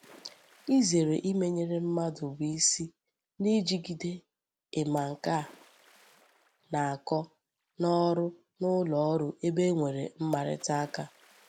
Izere imenyere mmadu bu isi nijigide I'ma nke a na-ako n'oru, n'uloru ebe e nwere mmarita aka.